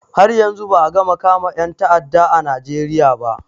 Har yanzu ba a gama kama ƴan ta'adda a najeriya ba